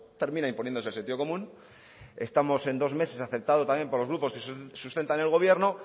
termina imponiéndose el sentido común estamos en dos meses aceptado también por los grupos que sustentan el gobierno